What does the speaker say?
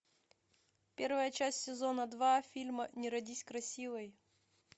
первая часть сезона два фильма не родись красивой